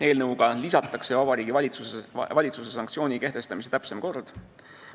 Eelnõuga lisatakse Vabariigi Valitsuse sanktsiooni kehtestamise täpsem kord.